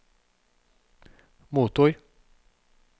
motor